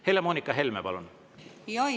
Helle-Moonika Helme, palun!